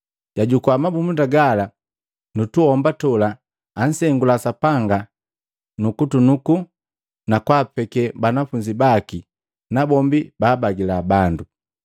Jwajukua mabumunda gala nutuomba tola, ansengula Sapanga nu kunuku, nakwaapeke banafunzi baki nabombi baabagila bandu.